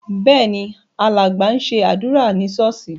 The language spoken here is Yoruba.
Bẹ́ẹ̀ ni, alàgbà ń gbàdúrà ní ṣọ́ọ́ṣì.